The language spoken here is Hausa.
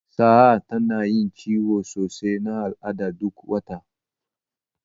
Sa'a tana yin ciwon sosai na al'ada duk wata.